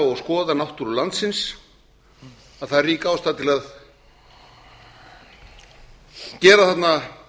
og skoða náttúru landsins að að er á ástæða til að aka